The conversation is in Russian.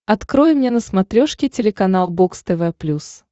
открой мне на смотрешке телеканал бокс тв плюс